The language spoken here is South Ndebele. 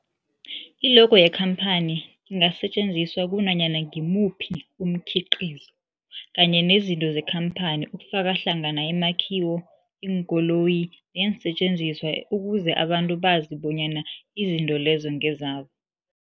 I-logo yemkhaphani ingasetjenziswa kunanyana ngimuphi umkhiqizo kanye nezinto zekhamphani okufaka hlangana imakhiwo, iinkoloyi neensentjenziswa ukuze abantu bazi bonyana izinto lezo ngezabo.